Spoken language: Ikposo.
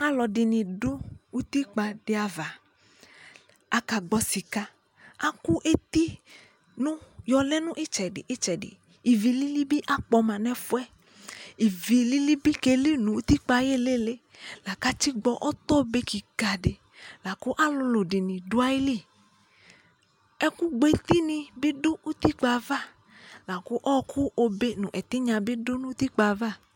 Alʋɔdι nι dʋ utikpa ti ava Akagbɔ sika Akʋ eti nu yɔlɛ nʋ itsɛdιitsɛdι Ivi lili bι akpɔma nʋ ɛfu yɛ Ivi lili bι keli nʋ utikpa ayʋ ilili la kʋ atigbɔ ɔtɔ be kika dι la kʋ alulu dι nι dʋ ayʋ lι Ɛkʋ bue tinyi dʋ utikpa yɛ ava akʋ ɔɔkʋ obe nʋ tinya bι dʋ utakpa yɛ ava